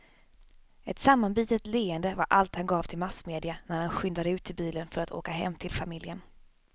Ett sammanbitet leende var allt han gav till massmedia när han skyndade ut till bilen för att åka hem till familjen.